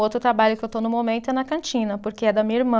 O outro trabalho que eu estou no momento é na cantina, porque é da minha irmã.